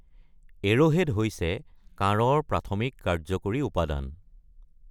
Arrowhead হৈছে কাঁড়ৰ প্ৰাথমিক কাৰ্যকৰী উপাদান।